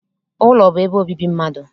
Ụlọ bụ ebe obibi mmadụ